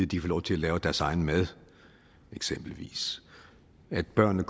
de får lov at lave deres egen mad eksempelvis at børnene